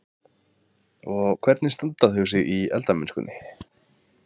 Bryndís: Og hvernig standa þau sig í eldamennskunni?